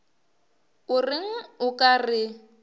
o reng o ka re